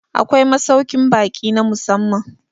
Akwai masaukin baki na musamman